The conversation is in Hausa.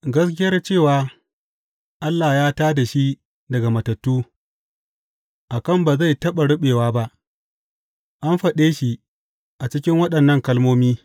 Gaskiyar cewa Allah ya tā da shi daga matattu, a kan ba zai taɓa ruɓewa ba, an faɗe shi a cikin waɗannan kalmomi.